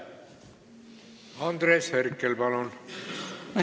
Andres Herkel, palun!